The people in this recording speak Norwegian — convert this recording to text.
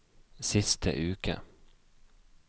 siste uke